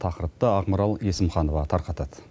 тақырыпты ақмарал есімханова тарқатады